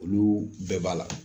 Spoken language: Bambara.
Olu bɛɛ b'a la